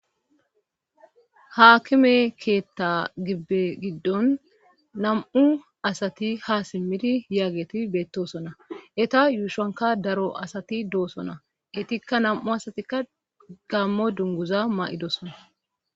Haakime keetta gibbe giddon nam7u asati ha simmidi yaageti beettosona eta yuushanka daro asati doosona itikka nam7u asatikka gammo dunguza ma7idosona.